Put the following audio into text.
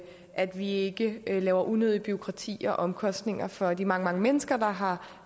at vi ikke laver unødigt bureaukrati og omkostninger for de mange mange mennesker der har